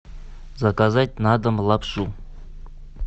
заказать на дом лапшу